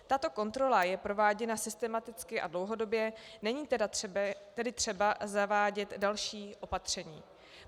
Tato kontrola je prováděna systematicky a dlouhodobě, není tedy třeba zavádět další opatření.